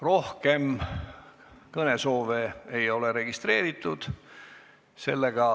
Rohkem kõnesoove ei ole registreeritud.